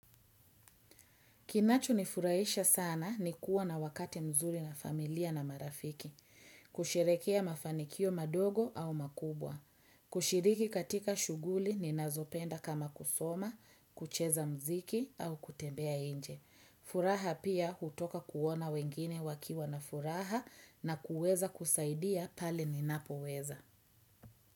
Kinacho ni furaisha sana ni kuwa na wakate mzuri na familia na marafiki. Kusherekea mafanikio madogo au makubwa. Kushiriki katika shuguli ni nazopenda kama kusoma, kucheza mziki au kutembea inje. Furaha pia hutoka kuona wengine wakiwa na furaha na kuweza kusaidia pale ni napoweza.